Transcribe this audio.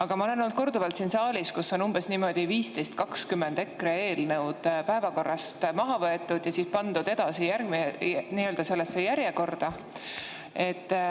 Ma olen siin saalis korduvalt, kuidas umbes 15–20 EKRE eelnõu on päevakorrast maha võetud ja pandud nii‑öelda järjekorda.